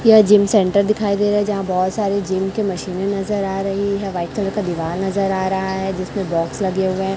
यह gym centre दिखाई दे रहा है जहां बहोत सारे जिम के मशीने नजर आ रही है वाइट कलर का दीवार नजर आ रहा है जिसमें बॉक्स लगे हुए हैं।